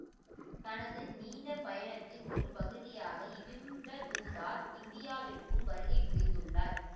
தனது நீண்ட பயணத்தின் ஒரு பகுதியாக இபின்பதூதா இந்தியாவிற்கும் வருகை புரிந்துள்ளார்